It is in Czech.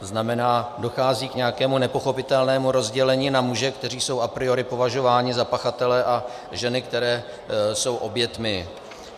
To znamená, dochází k nějakému nepochopitelnému rozdělení na muže, kteří jsou a priori považováni za pachatele, a ženy, které jsou oběťmi.